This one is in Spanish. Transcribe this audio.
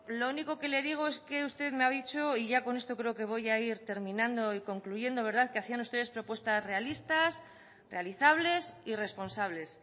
lo único que le digo es que usted me ha dicho y ya con esto creo que voy a ir terminando y concluyendo que hacían ustedes propuestas realistas realizables y responsables